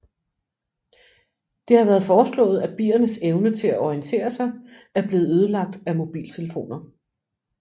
Det har været foreslået at biernes evne til at orientere sig er blevet ødelagt af mobiltelefoner